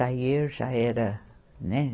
Aí eu já era, né?